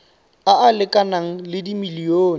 a a lekanang le dimilione